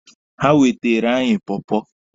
Ha weteere anyị pọọpọọ.